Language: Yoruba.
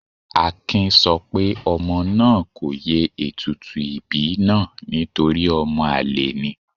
Akin sọ pé ọmọ náà kò ye ètùtù ìbí náà nítorí ọmọ àlè ni.